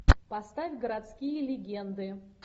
поставь городские легенды